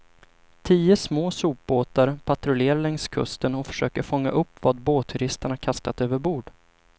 Tio små sopbåtar patrullerar längs kusten och försöker fånga upp vad båtturisterna kastat över bord.